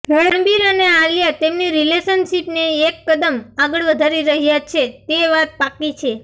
રણબીર અને આલિયા તેમની રિલેશનશીપને એક કદમ આગળ વધારી રહ્યા છે તે વાત પાક્કી છે